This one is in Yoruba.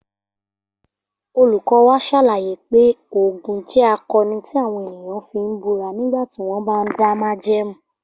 Olùkọ́ wa ṣàlàyé pé Ògún jẹ́ akọni tí àwọn ènìyàn fi ń búra nígbà tí wọ́n bá ń dá májẹ̀mú